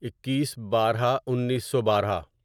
اکیس بارہ انیسو بارہ